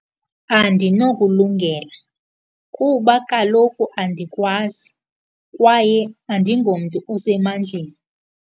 Andinokulungela kuba kaloku andikwazi, kwaye andingomntu osemandleni.